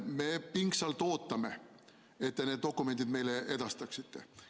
Me pingsalt ootame, et te need dokumendid meile edastaksite.